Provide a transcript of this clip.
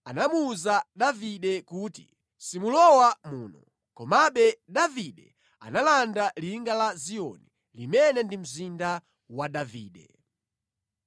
anamuwuza Davide kuti, “Simulowa muno.” Komabe Davide analanda linga la Ziyoni, limene ndi mzinda wa Davide.